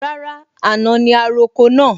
Rárá, àná ni a roko náà